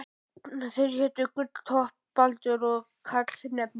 Þeir hétu Gulltoppur, Baldur og Karlsefni.